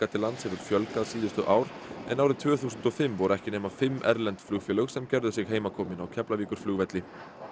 til lands hefur fjölgað síðustu ár en árið tvö þúsund og fimm voru ekki nema fimm erlend flugfélög sem gerðu sig á Keflavíkurflugvelli